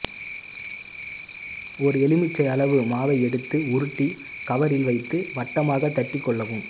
ஒரு எலுமிச்சை அளவு மாவை எடுத்து உருட்டி கவரில் வைத்து வட்டமாக தட்டி கொள்ளவும்